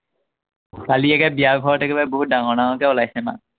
কালি একেবাৰে বিয়া ঘৰত একেবাৰে বহুত ডাঙৰ ডাঙৰকে ওলাইছে ন?